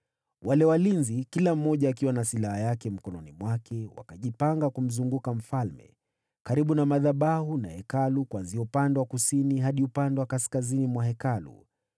Wale walinzi, kila mmoja akiwa na silaha yake mkononi mwake, wakajipanga kumzunguka mfalme, karibu na madhabahu na Hekalu, kuanzia upande wa kusini hadi upande wa kaskazini mwa Hekalu.